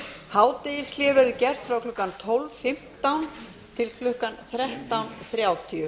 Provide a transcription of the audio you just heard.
hádegishlé verður gert frá klukkan tólf fimmtán til klukkan þrettán þrjátíu